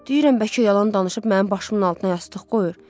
Deyirəm bəlkə yalan danışıb mənim başımın altına yastıq qoyur.